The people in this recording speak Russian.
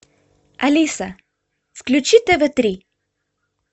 алиса включи тв три